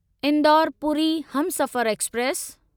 Indore Puri Humsafar express